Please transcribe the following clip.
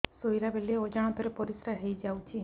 ଶୋଇଲା ବେଳେ ଅଜାଣତ ରେ ପରିସ୍ରା ହେଇଯାଉଛି